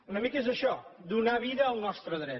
una mica és això donar vida al nostre dret